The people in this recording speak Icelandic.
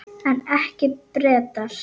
En ekki Bretar.